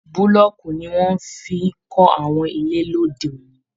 Bulọọku ni wọn fí n kọ àwọn ilé lóde òní.